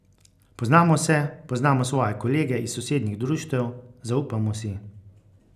Poznamo se, poznamo svoje kolege iz sosednjih društev, zaupamo si.